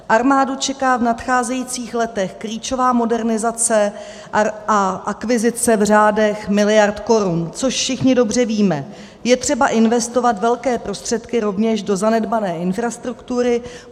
Armádu čeká v nadcházejících letech klíčová modernizace a akvizice v řádech miliard korun, což všichni dobře víme, je třeba investovat velké prostředky rovněž do zanedbané infrastruktury.